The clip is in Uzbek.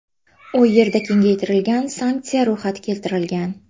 U yerda kengaytirilgan sanksiya ro‘yxati keltirilgan.